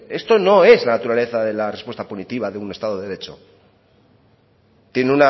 esto no es la naturaleza de la respuesta punitiva de un estado de derecho tiene